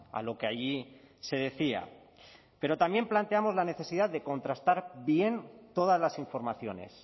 a lo que allí se decía pero también planteamos la necesidad de contrastar bien todas las informaciones